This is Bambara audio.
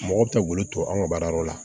Mɔgɔ bɛ ka wulu to an ka baara yɔrɔ la